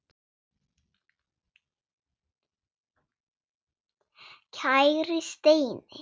Kæri Steini.